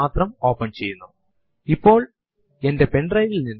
present working directory എന്ന് വ്യക്തമാക്കുന്ന PWD ആണ് ഇത്